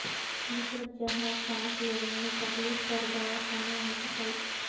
نصرت جہاں سانس لینے میں تکلیف پر دواخانہ منتقل